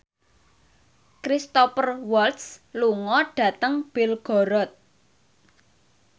Cristhoper Waltz lunga dhateng Belgorod